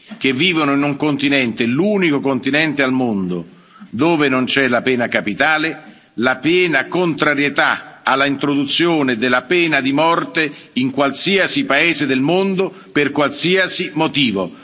che vivono in un continente, l'unico continente al mondo dove non c'è la pena capitale, e la piena contrarietà all'introduzione della pena di morte in qualsiasi paese del mondo per qualsiasi motivo.